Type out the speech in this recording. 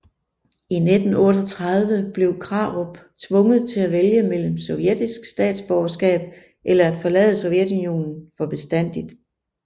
I 1938 blev Krarup tvunget til at vælge mellem sovjetisk statsborgerskab eller at forlade Sovjetunionen for bestandigt